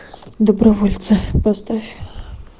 добровольцы поставь